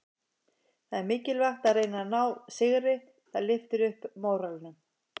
Það er mikilvægt að reyna að ná sigri, það lyftir upp móralnum.